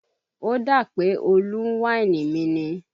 Ó dà pé Olú ń wáìnì mi ni